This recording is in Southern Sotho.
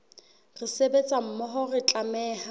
re sebetsa mmoho re tlameha